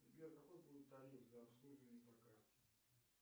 сбер какой будет тариф за обслуживание по карте